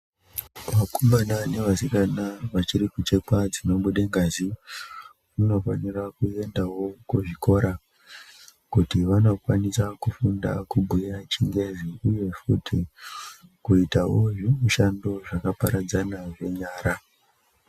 Vakomana nevasikana vachiri kuchekwa dzinobuda ngazi vanofanira kuendao kuzvikora kuti vanokwanisa kufunda kubhuya chingezi uye futi kuitao zvimushando zvakaparadzana zvenyara.